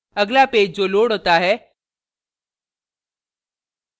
अगला पेज जो loads होता है